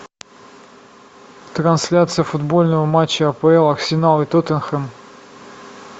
трансляция футбольного матча апл арсенал и тоттенхэм